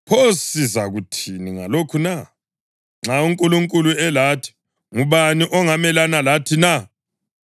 Pho sizakuthini ngalokhu na? Nxa uNkulunkulu elathi ngubani ongamelana lathi na?